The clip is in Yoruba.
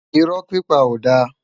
Irò pipá ó dá